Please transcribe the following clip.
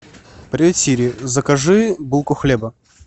привет сири закажи булку хлеба